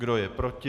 Kdo je proti?